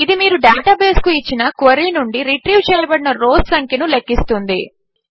ఇది మీరు డేటాబేస్కు ఇచ్చిన క్వెరీ నుండి రిట్రీవ్ చేయబడిన రౌస్ సంఖ్యను లెక్కిస్తుంది